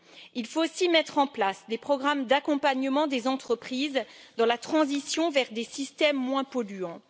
Il faut aussi mettre en place des programmes d'accompagnement des entreprises dans la transition vers des systèmes moins polluants.